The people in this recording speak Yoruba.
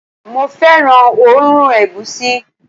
mo fẹràn oòrùn egusi